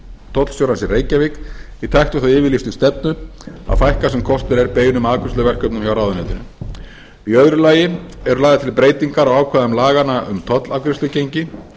tollstjórans í reykjavík í takt við þá yfirlýstu stefnu að fækka sem kostur er beinum afgreiðsluverkefnum frá ráðuneytinu í öðru lagi eru lagðar til breytingar á ákvæðum laganna um tollafgreiðslugengi